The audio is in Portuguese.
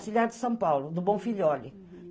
Auxiliar de São Paulo, do Bom Filhole.